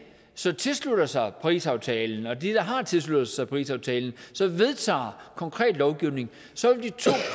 så tilslutter sig parisaftalen og de der har tilsluttet sig parisaftalen så vedtager konkret lovgivning